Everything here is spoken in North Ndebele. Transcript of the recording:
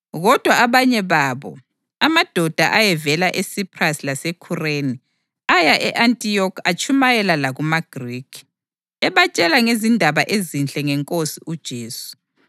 Kodwa abanye babo, amadoda ayevela eSiphrasi laseKhureni, aya e-Antiyokhi atshumayela lakumaGrikhi, ebatshela ngezindaba ezinhle ngeNkosi uJesu.